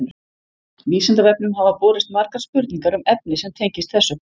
Vísindavefnum hafa borist margar spurningar um efni sem tengist þessu.